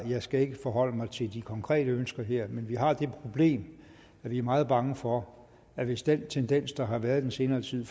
jeg skal ikke forholde mig til de konkrete ønsker her men vi har det problem at vi er meget bange for at hvis den tendens der har været den seneste